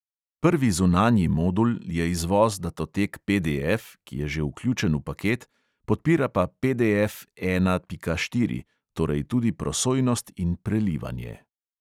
Prvi zunanji modul je izvoz datotek PDF, ki je že vključen v paket, podpira pa PDF ena pika štiri, torej tudi prosojnost in prelivanje.